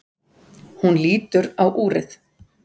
Hún lítur á úrið.